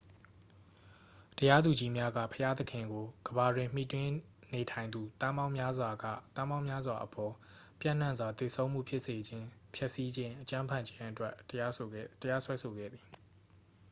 "တရားသူကြီးများက ဘုရားသခင်ကို "ကမ္ဘာတွင် မှီတင်းနေထိုင်သူ သန်းပေါင်းများစွာက သန်းပေါင်းများစွာအပေါ် ပျံ့နှံ့စွာ သေဆုံးမှု ဖြစ်စေခြင်း၊ ဖျက်ဆီးခြင်း၊ အကြမ်းဖက်ခြင်း" အတွက် တရားစွဲဆိုခဲ့သည်။